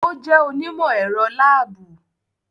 O jẹ onimọ-ẹrọ laabu